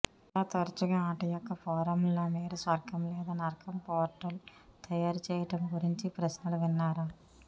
చాలా తరచుగా ఆట యొక్క ఫోరంలలో మీరు స్వర్గం లేదా నరకం పోర్టల్ తయారు చేయడం గురించి ప్రశ్నలు విన్నారా